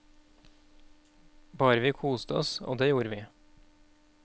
Bare vi koste oss, og det gjorde vi.